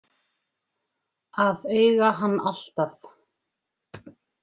Að eiga hann alltaf.